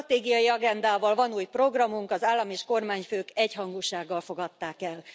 A Stratégiai agendával van új programunk, az állam és kormányfők egyhangúsággal fogadták el.